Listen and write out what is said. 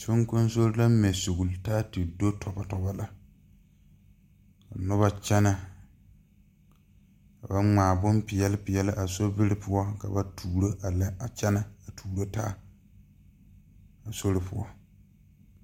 Soŋkoŋsore la mɛ sugle taa ti do tɔbɔ lɛ ka nobɔ kyɛnɛ ka ba ngmaa bonpeɛle peɛle a sobiri poɔ ka ba tuuro a lɛ a kyɛnɛ a tuuro taa a sori poɔ.